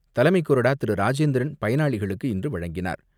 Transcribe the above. ராஜேந்திரன் பயனாளிகளுக்கு இன்று வழங்கினார்.